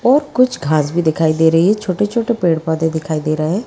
और कुछ घासभी दिखाई दे रही है छोटे छोटे पेड़ पौंधे दिखाई दे रहे है।